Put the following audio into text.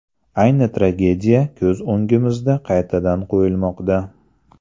Ayni tragediya ko‘z o‘ngimizda qaytadan qo‘yilmoqda.